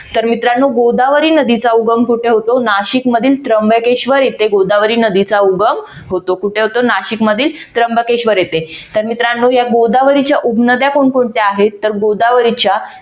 तर मित्रानो गोदावरी नदीचा उगम कोठे होतो. नाशिकमधील त्र्यंबकेश्वर येथे गोदावरी नदीचा उगम होतो. कुठे होतो? नाशिकमधील त्र्यंबकेश्वर येथे तर मित्रांनो या गोदावरीच्या उपनद्या कोणकोणत्या आहेत? तर गोदावरीच्या